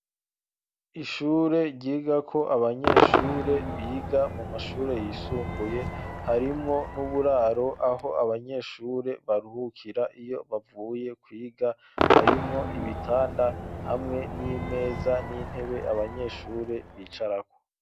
Ishure ryiga ko abanyeshure biga mu mashure yisumbuye harimwo n'uburaro aho abanyeshure baruhukira iyo bavuye kwiga harimwo ibitanda hamwe n'imeza n'intebe abanyeshure bicarako.